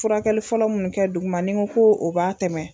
Furakɛli fɔlɔ mun kɛ duguma n'i n ko ko o b'a tɛmɛ